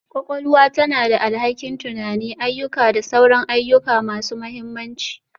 Kwakwalwa tana da alhakin tunani, ayyuka da sauran ayyuka masu mahimmanci